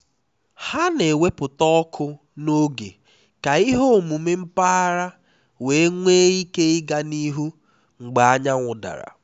ha na-ewepụta ọkụ n'oge ka ihe omume mpaghara wee nwee ike ịga n'ihu mgbe anyanwụ dara